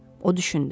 O düşündü.